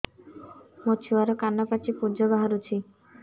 ମୋ ଛୁଆର କାନ ପାଚି ପୁଜ ବାହାରୁଛି